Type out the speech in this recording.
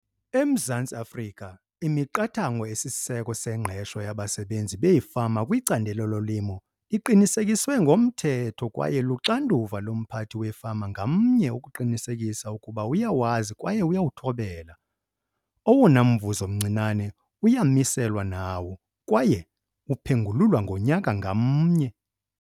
EMzantsi Afrika imiqathango esisiseko sengqesho yabasebenzi beefama kwicandelo lolimo iqinisekiswe ngomthetho kwaye luxanduva lomphathi wefama ngamnye ukuqinisekisa ukuba uyawazi kwaye uyawuthobela. Owona mvuzo mncinane uyamiselwa nawo kwaye uphengululwa ngonyaka ngamnye.